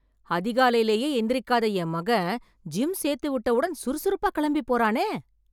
அதிகாலைலயே எந்திரிக்காத என் மகன் ஜிம் சேர்த்து விட்டவுடன் சுறுசுறுப்பா கிளம்பி போறானே.